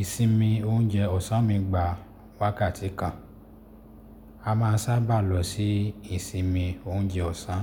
Ìsinmi oúnjẹ ọ̀sán mi gbà wákàtí kan. A máa ń sábà lọ sí ìsinmi oúnjẹ ọ̀sán,